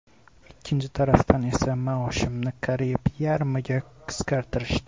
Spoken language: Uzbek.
Ikkinchi tarafdan esa maoshimni qariyb yarmiga qisqartirishdi.